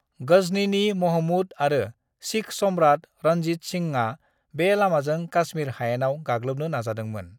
गजनीनि महमूद आरो सिख सम्राट रणजीत सिंहआ बे लामाजों काश्मीर हायेनाव गाग्लोबनो नाजादोंमोन।